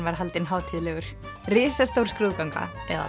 var haldinn hátíðlegur risastór skrúðganga eða